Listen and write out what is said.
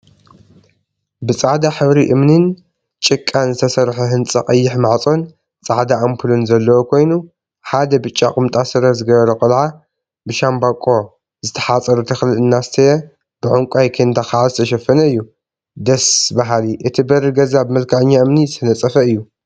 ብፃዕዳ ሕብሪ እምኒን ጭቃን ዝተሰርሐ ህንፃ ቀይሕ ማፅፆን ፃዕዳ አምፑልን ዘለዎ ኮይኑ፤ ሓደ ብጫ ቁምጣ ስረ ዝገበረ ቆልዓ ብሻምበቆ ዝተሓፀረ ተክሊ እናስተየ ብዕንቋይ ኬንዳ ከዓ ዝተሸፈነ እዩ፡፡ ደስ በሃሊ! እቲ በሪ ገዛ ብመልክዐኛ እምኒ ዝተነፀፈ እዩ፡፡